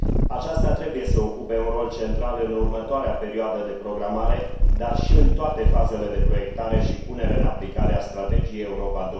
Aceasta trebuie să ocupe un rol central în următoarea perioadă de programare, dar și în toate fazele de proiectare și punere în aplicare a Strategiei Europa